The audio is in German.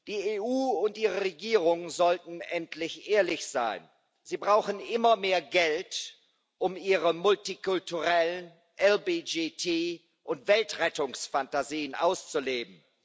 Die EU und die Regierungen sollten endlich ehrlich sein Sie brauchen immer mehr Geld, um ihre multikulturellen LBGT und Weltrettungsfantasien auszuleben.